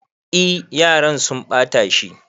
E, yaran sun ɓata shi.